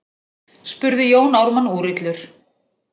spurði Jón Ármann úrillur.